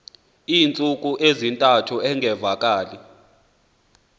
iintsuku ezintathu engavakali